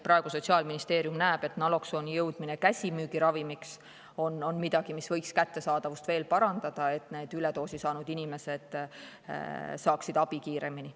Praegu Sotsiaalministeerium näeb, et naloksooni muutmine käsimüügiravimiks on midagi, mis võiks kättesaadavust veel parandada, et üledoosi saanud inimesed saaksid abi kiiremini.